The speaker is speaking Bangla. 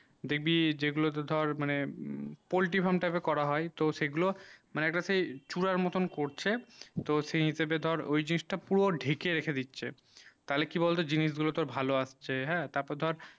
দেখবি যে গুলু তে ধর মানে এ করা হয়ে poultry farm type তো সেই গুলু মানে সেই একটা চূড়া মতুন করছে তো সেই হিসাবে ধর ঐই জিনিস তা পুরো ঢেকে রেখে দিচ্ছে তালে কি বলতো জিনিস গুলু তোর ভালো আসছে হেঁ তা পর ধর